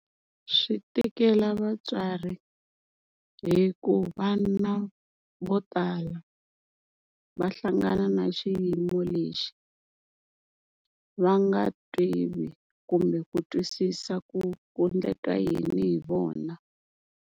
Swi tikela vatswari, hi ku vana vo tala va hlangana na xiyimo lexi va nga tivi kumbe ku twisisa ku ku endleka yini hi vona.